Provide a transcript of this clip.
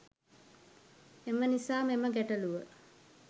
එම නිසා මෙම ගැටළුව